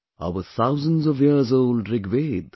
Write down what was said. Our thousands of years old Rigveda